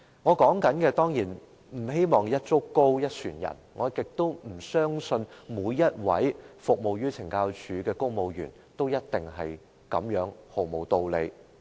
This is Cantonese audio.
我當然不希望一竹篙打一船人，我亦不相信每位在懲教署服務的公務員，處事也毫無道理。